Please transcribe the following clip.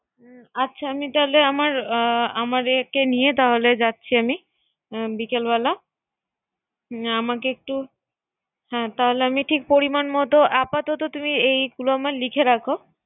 আমি তাইলে আমার এ কে নিয়া তাহলে যাচ্ছি আমি। বিকাল বেলা আমি আমাকে একটু হ্যা তাহলে আমি পরিমান মত আপাতত তুমি এই গুলা লিখে রাখো